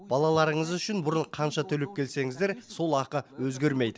балаларыңыз үшін бұрын қанша төлеп келсеңіздер сол ақы өзгермейді